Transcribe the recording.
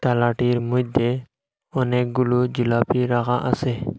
থালাটির মইধ্যে অনেকগুলো জিলাপি রাখা আসে।